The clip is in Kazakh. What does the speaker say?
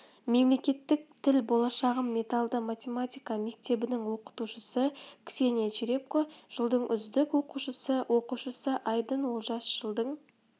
мемлекеттік тіл болашағым менталды математика мектебінің оқытушысы ксения черепко жылдың үздік оқушысы оқушысы айдын олжас жылдың